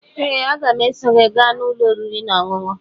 Ee, aga m eso gị gaa n'ụlọ oriri na ọṅụṅụ